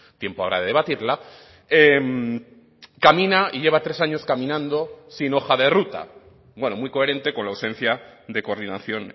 tiempo habrá de debatirla camina y lleva tres años caminando sin hoja de ruta bueno muy coherente con la ausencia de coordinación